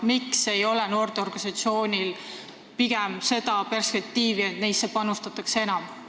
Miks ei ole noorteorganisatsioonidel pigem seda perspektiivi, et neisse panustatakse enam?